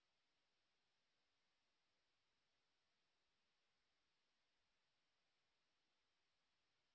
এটি ভারত সরকারের ICT MHRD এর ন্যাশনাল মিশন ওন এডুকেশন দ্বারা সমর্থিত